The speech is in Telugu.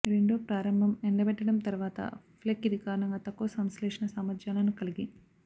రెండో ప్రారంభం ఎండబెట్టడం తర్వాత ఫ్లేక్ ఇది కారణంగా తక్కువ సంశ్లేషణ సామర్థ్యాలను కలిగి